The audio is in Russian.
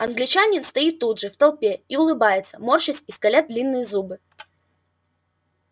англичанин стоит тут же в толпе и улыбается морщась и скаля длинные зубы